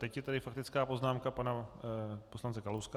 Teď je tady faktická poznámka pana poslance Kalouska.